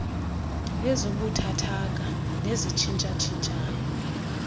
ezibuthathaka nezitshintsha tshintshayo